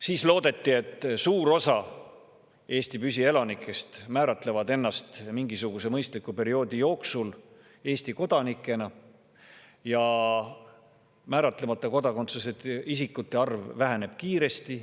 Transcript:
Siis loodeti, et suur osa Eesti püsielanikest määratleb ennast mingisuguse mõistliku perioodi jooksul Eesti kodanikena ja määratlemata kodakondsusega isikute arv väheneb kiiresti.